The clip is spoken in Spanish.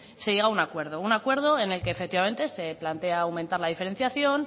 se llega a un acuerdo un acuerdo en el que efectivamente se plantea aumentar la diferenciación